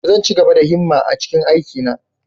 Zan ci gaba da himma a cikin aikina.